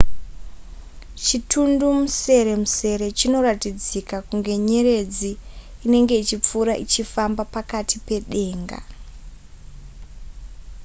chitundumuseremusere chinoratidzika kunge nyeredzi inenge ichipfuura ichifamba pakati pedenga